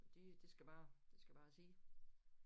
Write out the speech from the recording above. Så de det skal bare det skal bare sidde